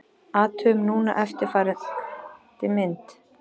Athugum núna eftirfarandi mynd: